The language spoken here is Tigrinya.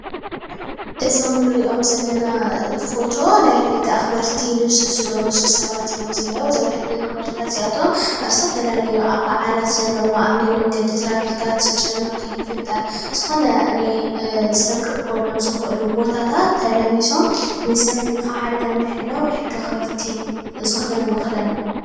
እዞም እንሪኦም ዘለና ፎቶ ናይ ሕጊ ኣኽበርቲ ልብሲ ዝለበሱ ሰባት እዮም ዝንሄዉ። እዞም ሕጊ ኣኽበርትታት እዚኣቶም እብ ዝተፈላለዩ ኣብ ብዓላት ዘለዎ ኣብ ናይ መንገድን ትራፊካት ምጭንናቕ ከይፍጠር ዝኾነ ናይ ሰብ ክእከበሎም ዝኽእሉ ቦታታት ተላቢሶም ንሰብ ካብ ሓደጋ ንምሕላው ሕጊ ኣኽበርቲ ዝኽደንዎ ክዳን እዩ።